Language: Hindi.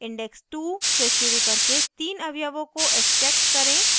* index two से शुरू करके तीन अवयवों को extract करें